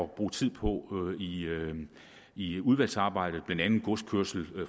bruge tid på i udvalgsarbejdet blandt andet godskørsel